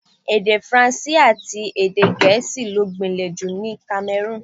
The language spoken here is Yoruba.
Èdè Faransé àti ti Gẹ̀ẹ́sì ló gbìnlè jù ní Kamẹrúùnù.